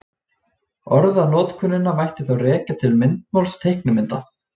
Orðanotkunina mætti þá rekja til myndmáls teiknimynda.